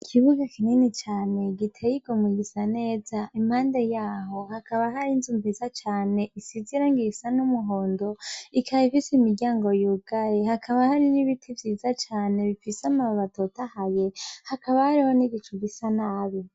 Ikibuga kinini cane giteye igomwe gisa neza, impande yaho hakaba hari inzu nziza cane isize irangi risa n' umuhondo, ikaba ifise imiryango yugaye hakaba hari n' ibiti bifise amababi atotahaye hakaba hariho n' igicu gisa nabi.